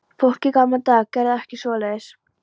Fólk í gamla daga gerði ekki svoleiðis.